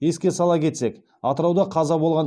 еске сала кетсек атырауда қаза болған